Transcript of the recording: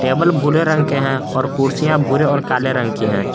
Table भूरे रंग के हैं और कुर्सियां भूरे और काले रंग की है।